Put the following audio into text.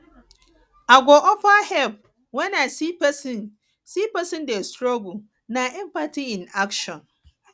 i go offer help when i see pesin see pesin dey struggle na empathy in action